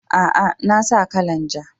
A'a, na sa kalan ja.